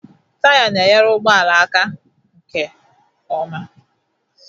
Taya na-enyere ụgbọala aka aga nke ọma